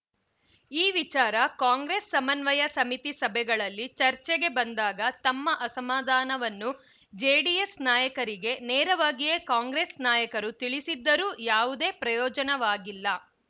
ಈ ವಿಚಾರ ಕಾಂಗ್ರೆಸ್‌ ಸಮನ್ವಯ ಸಮಿತಿ ಸಭೆಗಳಲ್ಲಿ ಚರ್ಚೆಗೆ ಬಂದಾಗ ತಮ್ಮ ಅಸಮಾಧಾನವನ್ನು ಜೆಡಿಎಸ್‌ ನಾಯಕರಿಗೆ ನೇರವಾಗಿಯೇ ಕಾಂಗ್ರೆಸ್‌ ನಾಯಕರು ತಿಳಿಸಿದ್ದರೂ ಯಾವುದೇ ಪ್ರಯೋಜನವಾಗಿಲ್ಲ